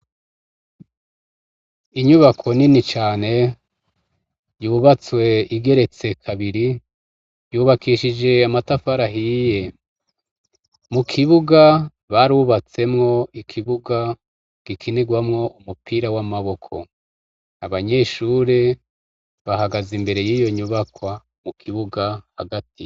Inyubako nini cane yubatswe igeretse kabiri yubakishije amatafari ahiye, mu kibuga barubatsemwo ikibuga gikinirwamwo umupira w’amaboko. Abanyeshure bahagaze imbere yiyo nyubakwa mu kibuga hagati.